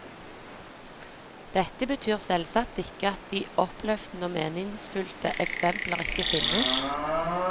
Dette betyr selvsagt ikke at de oppløftende og meningsfylte eksempler ikke finnes.